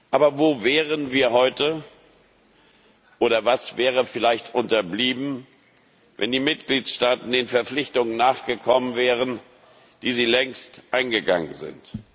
Aber wo wären wir heute, oder was wäre vielleicht unterblieben, wenn die Mitgliedstaaten den Verpflichtungen nachgekommen wären, die sie längst eingegangen sind?